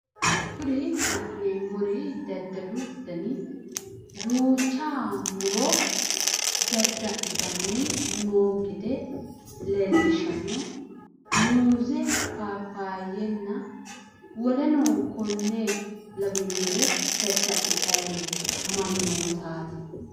kuri la'neemmori dadalu dani duucha muro dada'litanni no gede leellishshanno muuze paapayenna woleno konne lawanore dada'litanni no mannootaati.